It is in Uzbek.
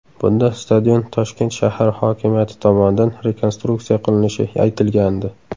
Bunda stadion Toshkent shahar hokimiyati tomonidan rekonstruksiya qilinishi aytilgandi.